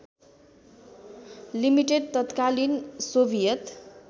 limited तत्कालीन Soviet